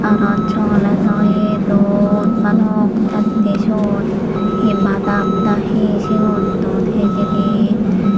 yenot chogoledoye don balok jattey siyot he badam na he siyun don hijeni.